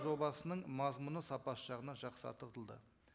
жобасының мазмұны сапасы жағынан